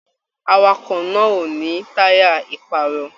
Àwàkọ̀ náà o ni taya iparọ̀ọ́.